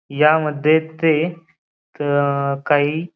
या मध्ये ते अ काही--